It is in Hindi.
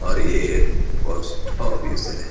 और ये एक पोस्ट ऑफिस है।